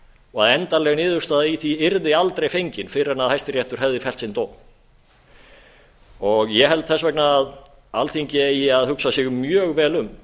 og endanleg niðurstaða í því yrði aldrei fengin fyrr en hæstiréttur hefði fellt sinn dóm ég held þess vegna að alþingi eigi að hugsa sig mjög vel um